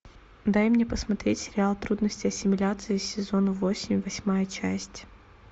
дай мне посмотреть сериал трудности ассимиляции сезон восемь восьмая часть